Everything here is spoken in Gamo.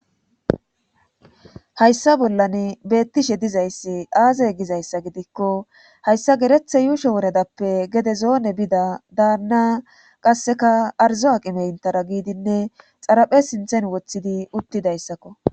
Hayssa bollan beettishe dizayssi aazey gizayssa gidikko hayssa gereththe yuusho woredappe gede zoone bida daanna qasseka arzo aqime intara giidinne xaraphe sinthen woththidi uttidayssakko